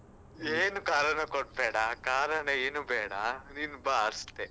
ಏನು ಕಾರಣ ಕೊಡ್ಬೇಡ, ಕಾರಣ ಏನು ಬೇಡ ನೀನು ಬಾ ಅಷ್ಟೆ.